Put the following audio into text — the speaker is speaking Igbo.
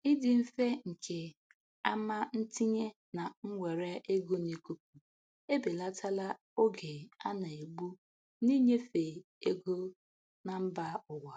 Ịdị mfe nke ama ntinye na mwere ego n'ikuku ebelatala oge a na-egbu n'inyefe ego na mba ụwa.